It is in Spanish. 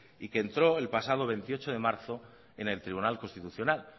y que entró el pasado veintiocho de marzo en el tribunal constitucional